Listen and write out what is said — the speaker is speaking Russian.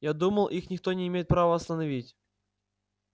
я думал их никто не имеет права остановить